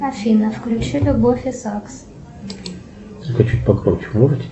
афина включи любовь и сакс